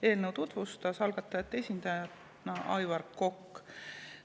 Eelnõu tutvustas algatajate esindajana Aivar Kokk.